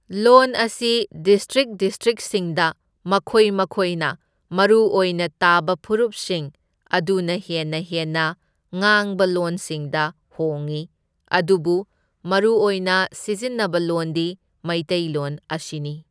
ꯂꯣꯟ ꯑꯁꯤ ꯗꯤꯁꯇ꯭ꯔꯤꯛ ꯗꯤꯁꯇ꯭ꯔꯤꯛꯁꯤꯡꯗ ꯃꯈꯣꯏ ꯃꯈꯣꯏꯅ ꯃꯔꯨꯑꯣꯏꯅ ꯇꯥꯕ ꯐꯨꯔꯨꯞꯁꯤꯡ ꯑꯗꯨꯅ ꯍꯦꯟꯅ ꯍꯦꯟꯅ ꯉꯥꯡꯕ ꯂꯣꯟꯁꯤꯡꯗ ꯍꯣꯡꯏ ꯑꯗꯨꯕꯨ ꯃꯔꯨꯑꯣꯏꯅ ꯁꯤꯖꯤꯟꯅꯕ ꯂꯣꯟꯗꯤ ꯃꯩꯇꯩꯂꯣꯟ ꯑꯁꯤꯅꯤ꯫